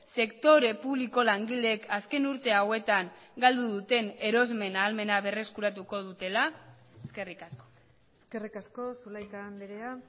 sektore publiko langileek azken urte hauetan galdu duten erosmen ahalmena berreskuratuko dutela eskerrik asko eskerrik asko zulaika andrea